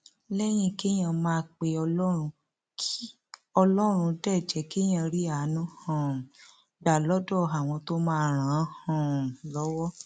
lẹyìn kéèyàn máa pe ọlọrun k ọlọrun dé jẹ kéèyàn rí àánú um gbà lọdọ àwọn tó máa ràn án um lọwọ